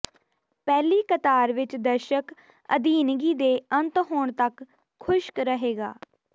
ਪਹਿਲੀ ਕਤਾਰ ਵਿਚ ਦਰਸ਼ਕ ਅਧੀਨਗੀ ਦੇ ਅੰਤ ਹੋਣ ਤੱਕ ਖੁਸ਼ਕ ਰਹੇਗਾ